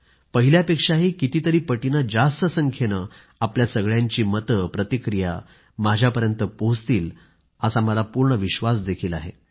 पहिल्यापेक्षाही कितीतरी पटीने जास्त संख्येने आपल्या सगळ्यांची मते प्रतिक्रिया माझ्यापर्यंत पोहोचतील असा मला पूर्ण विश्वास आहे